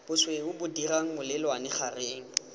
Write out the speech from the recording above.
bosweu bo dirang molelwane gareng